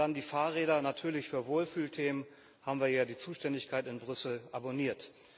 Und dann die Fahrräder Natürlich, für Wohlfühlthemen haben wir ja die Zuständigkeit in Brüssel abonniert.